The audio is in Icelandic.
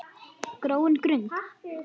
gróin grund!